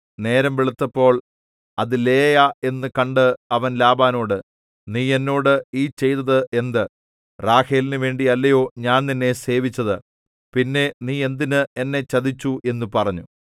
നേരം വെളുത്തപ്പോൾ അത് ലേയാ എന്നു കണ്ട് അവൻ ലാബാനോട് നീ എന്നോട് ഈ ചെയ്തത് എന്ത് റാഹേലിനുവേണ്ടി അല്ലയോ ഞാൻ നിന്നെ സേവിച്ചത് പിന്നെ നീ എന്തിന് എന്നെ ചതിച്ചു എന്നു പറഞ്ഞു